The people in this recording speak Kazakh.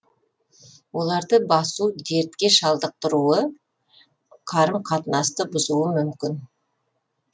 оларды басу дертке шалдықтыруы қарым қатынасты бұзуы мүмкін